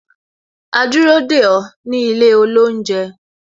A dúró dè ó ní ilé olounje